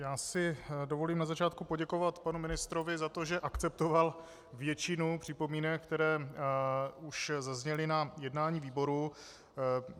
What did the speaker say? Já si dovolím na začátku poděkovat panu ministrovi za to, že akceptoval většinu připomínek, které už zazněly na jednání výboru.